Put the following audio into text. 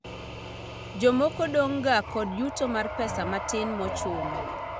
Jomoko dong' ga kod yuto mar pesa matin mochuno